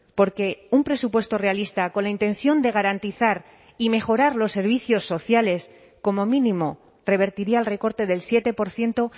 porque un presupuesto realista con la intención de garantizar y mejorar los servicios sociales como mínimo revertiría el recorte del siete por ciento